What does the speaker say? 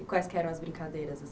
E quais que eram as brincadeiras?